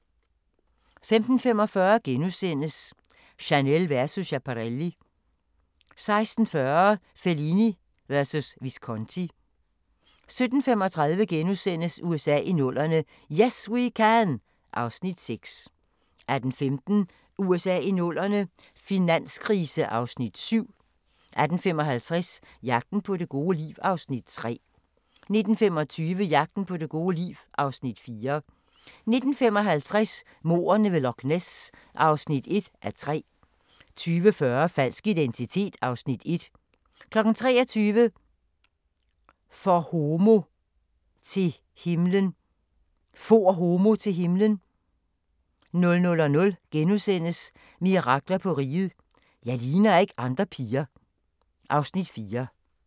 15:45: Chanel versus Schiaparelli * 16:40: Fellini versus Visconti 17:35: USA i 00'erne – 'Yes We Can' (Afs. 6)* 18:15: USA i 00'erne – finanskrise (Afs. 7) 18:55: Jagten på det gode liv (Afs. 3) 19:25: Jagten på det gode liv (Afs. 4) 19:55: Mordene ved Loch Ness (1:3) 20:40: Falsk identitet (Afs. 1) 23:00: For homo til himlen 00:00: Mirakler på Riget – Jeg ligner ikke andre piger (Afs. 4)*